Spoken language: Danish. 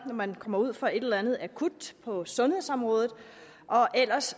man kommer ud for et eller andet akut på sundhedsområdet og ellers